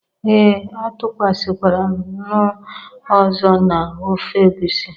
Ee, atụkwasịkwara m nnu ọzọ na ofe egusi